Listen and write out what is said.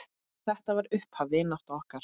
Þetta var upphaf vináttu okkar.